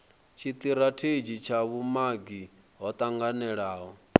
tshitirathedzhi tsha vhumagi tsho tanganelaho